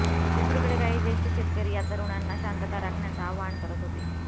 दुसरीकडे काही ज्येष्ठ शेतकरी या तरूणांना शांतता राखण्याचं आवाहन करत होते